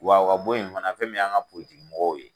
Wa o ka bɔ ye fana fɛn min y'an ka politiki mɔgɔw ye